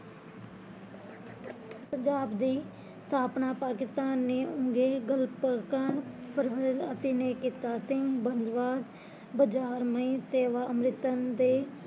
ਪੰਜਾਬ ਦੀ ਸਥਾਪਨਾ ਪਾਕਿਸਤਾਨ ਨੇ ਬਜ਼ਾਰਮਈ ਸੇਵਾ ਅੰਮ੍ਰਿਤਸਰ ਦੇ